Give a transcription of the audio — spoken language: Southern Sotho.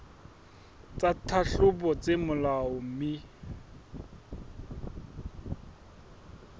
tsa tlhahlobo tse molaong mme